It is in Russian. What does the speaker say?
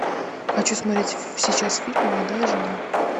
хочу смотреть сейчас фильм молодая жена